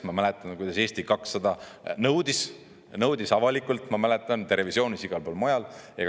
Ma mäletan, kuidas Eesti 200 nõudis, nõudis avalikult, ma mäletan, televisioonis ja igal pool mujal.